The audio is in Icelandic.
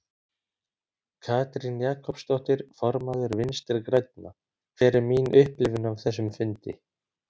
Katrín Jakobsdóttir, formaður Vinstri grænna: Hver er mín upplifun af þessum fundi?